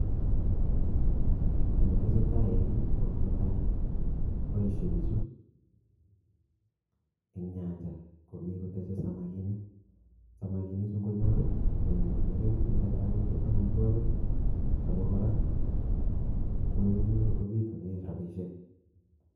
Kit netesetai en yuh konetai boishie bichu en nyanyaa komii kotegoni samakinik, samakinii Chu ingonyor i ko konyorunen kelchin, netai ko amitwogiik ak kora koyekialda kobitunen rabishek